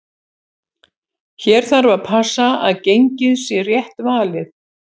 Hér þarf að passa að gengið sé rétt valið.